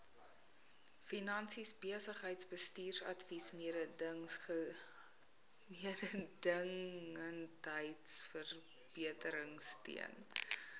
finansies besigheidsbestuursadvies mededingendheidsverbeteringsteun